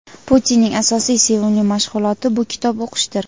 Putinning asosiy sevimli mashg‘uloti bu kitob o‘qishdir.